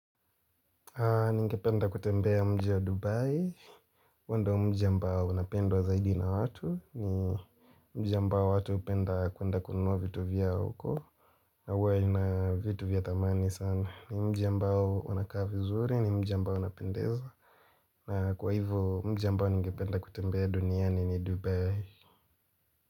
Ningependa kutembea mji wa Dubai, huo ndio mji ambao unapendwa zaidi na watu. Ni mji ambao watu hupenda kuenda kununua vitu vyao huko. Na huwa ina vitu vya dhamani sana. Ni mji ambao unakaa vizuri ni mji ambao unapendeza na kwa hivyo mji ambao ningependa kutembea duniani ni Dubai.